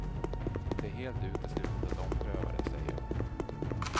Det är helt uteslutet att ompröva det, säger hon.